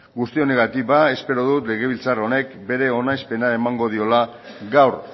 guzti honengatik ba espero dut legebiltzar honek bere onespena emango diola gaur